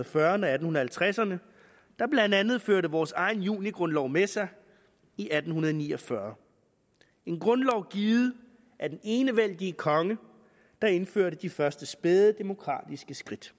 fyrrerne og atten halvtredserne der blandt andet førte vores egen junigrundlov med sig i atten ni og fyrre en grundlov givet af den enevældige konge der indførte de første spæde demokratiske skridt